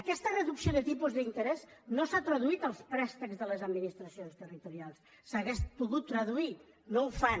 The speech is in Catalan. aquesta reducció de tipus d’i n terès no s’ha traduït als préstecs de les administracions territorials s’hauria pogut traduir no ho fan